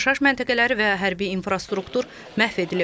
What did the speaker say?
Yaşayış məntəqələri və hərbi infrastruktur məhv edilib.